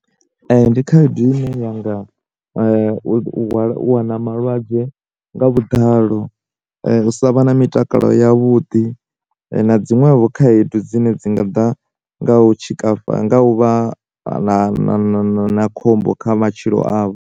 Ndi khaedu ine ya nga u walw, u wana malwadze nga vhuḓalo, u sa vha na mitakalo ya vhuḓi na zwiṅwevho khaedu dzine dzi nga ḓa nga u tshikafhala nga u vha na na na khombo kha matshilo avho.